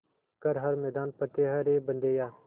कर हर मैदान फ़तेह रे बंदेया